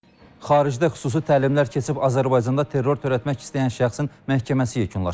Xaricdə xüsusi təlimlər keçib Azərbaycanda terror törətmək istəyən şəxsin məhkəməsi yekunlaşıb.